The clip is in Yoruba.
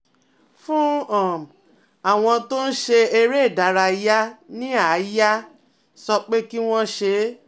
Fún um àwọn tó ń ṣe eré ìdárayá ní àyà, sọ pé kí wọ́n ṣe é